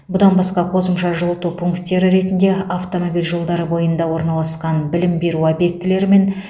бұдан басқа қосымша жылыту пункттері ретінде автомобиль жолдары бойында орналасқан білім беру объектілері мен